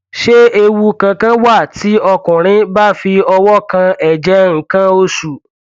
ṣé ewu kankan wà tí ọkùnrin bá fi ọwọ kan ẹjẹ nǹkan oṣù